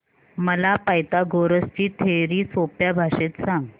मला पायथागोरस ची थिअरी सोप्या भाषेत सांग